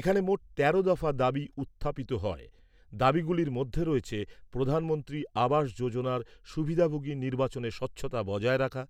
এখানে মোট তেরো দফা দাবি উত্থাপিত হয় দাবিগুলির মধ্যে রয়েছে, প্রধানমন্ত্রী আবাস যোজনার সুবিধাভোগী নির্বাচনে স্বচ্ছতা বজায় রাখা,